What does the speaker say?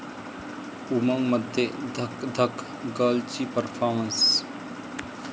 उमंग'मध्ये 'धकधक गर्ल'ची परफॉमर्न्स